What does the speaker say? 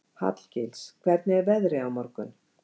Hallgils, hvernig er veðrið á morgun?